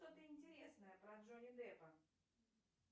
что то интересное про джонни деппа